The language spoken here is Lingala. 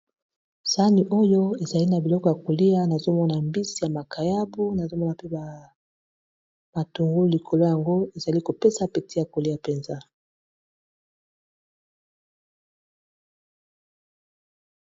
Sani oyo ezali na biloko ya kolia na zomona mbisi ya makayabu na zomona pe ba matungulu likolo yango ezali kopesa peti ya kolia mpenza.